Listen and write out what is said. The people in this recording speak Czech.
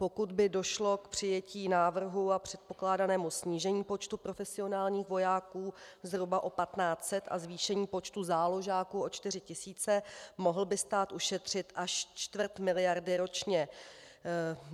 Pokud by došlo k přijetí návrhu a předpokládanému snížení počtu profesionálních vojáků zhruba o 1 500 a zvýšení počtu záložáků o 4 000, mohl by stát ušetřit až čtvrt miliardy ročně.